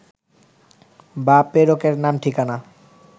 বা প্রেরকের নাম-ঠিকানা